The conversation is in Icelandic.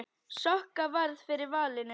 Sokka varð fyrir valinu.